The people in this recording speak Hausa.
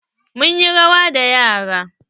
Mun yi rawa da yaran.